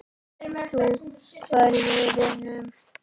Þú færð vinnu.